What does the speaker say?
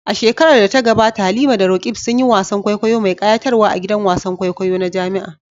A shekarar da ta gabata Halima da Roqeeb sun yi wasan kwaikwayo mai kayatarwa a gidan wasan kwaikwayo na jami'a.